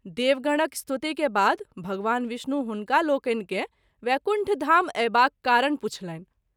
देवगणक स्तुति के बाद भगवान विष्णु हुनकालोकनि केँ वैकुण्ठधाम अएबाक कारण पुछलनि।